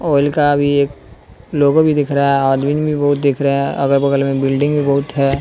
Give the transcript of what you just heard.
Oil का भी एक लोगो भी दिख रहा है आदमीन भी बहुत दिख रहे हैं अगल-बगल में बिल्डिंग भी बहुत है।